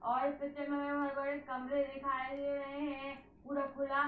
और कमरे दिखाई दे रहे है पूरा खुला --